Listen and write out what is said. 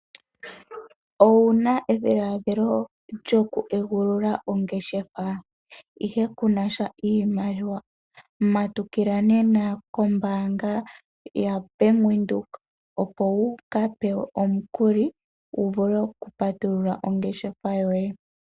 Owuna edhiladhilo lyo ku egulula oongeshefa ihe kuna iimaliwa? Matukila nena kombaanga ya bank Windhoek opo wu ka pewe omukuli wuvule oku patulula oongeshefa yoye.